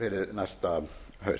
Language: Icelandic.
næsta haust